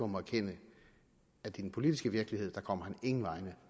må erkende at i den politiske virkelighed kommer han ingen vegne